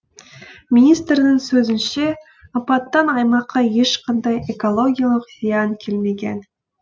министрдің сөзінше апаттан аймаққа ешқандай экологиялық зиян келмеген